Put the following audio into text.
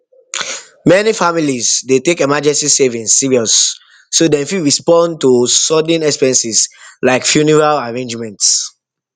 many families dey take emergency savings serious so dem fit respond to sudden expenses like funeral arrangements